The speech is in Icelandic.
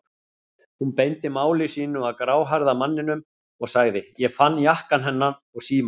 Hún beindi máli sínu að gráhærða manninum og sagði: Ég fann jakkann hennar og símann.